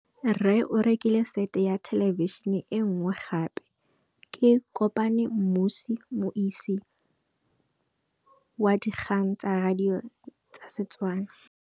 Rre o rekile sete ya thêlêbišênê e nngwe gape. Ke kopane mmuisi w dikgang tsa radio tsa Setswana.